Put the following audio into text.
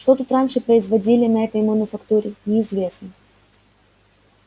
что тут раньше производили на этой мануфактуре неизвестно